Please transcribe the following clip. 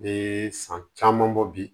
Ne san caman bɔ bi